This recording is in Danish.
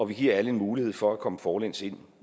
vi giver alle en mulighed for at komme forlæns ind